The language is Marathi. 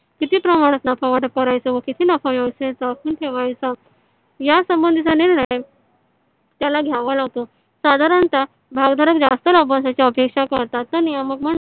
कीती प्रमाणात नफा वाटप करायचा व कीती नफा व्यवस्थेत जपून ठेवायचा याचा संबंधीचा निर्णय त्याला घ्यावा लागतो साधारणतः भागधारक जास्त नफासाठी अपेक्षा करतात या नियामक म्हणजे